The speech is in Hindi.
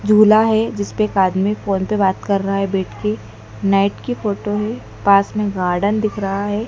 झूला है जिसपे एक आदमी फोन पे बात कर रहा है बैठ के नाइट की फोटो है पास में गार्डन दिख रहा हैं।